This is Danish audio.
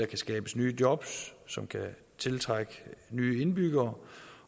kan skabes nye jobs som kan tiltrække nye indbyggere